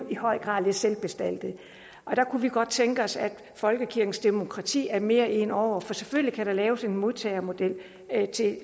i høj grad lidt selvbestaltede der kunne vi godt tænke os at folkekirkens demokrati er mere inde over for selvfølgelig kan der laves en modtagermodel